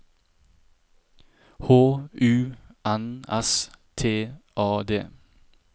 H U N S T A D